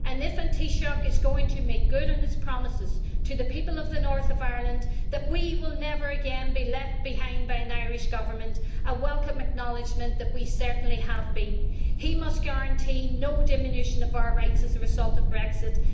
If the Taoiseach is going to make good on his promises to the people of the north of Ireland that we will never again be left behind by an Irish Government a welcome acknowledgement that we certainly have been he must guarantee no diminution of our rights as a result of Brexit.